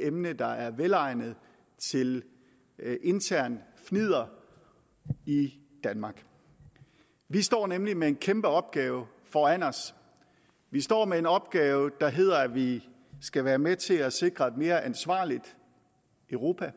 emne der er velegnet til internt fnidder i i danmark vi står nemlig med en kæmpe opgave foran os vi står med en opgave der hedder at vi skal være med til at sikre et mere ansvarligt europa